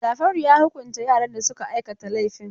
Jafaru ya hukunta yaran da suka aikata laifin.